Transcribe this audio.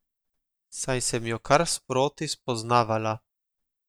Saj sem jo kar sproti spoznavala.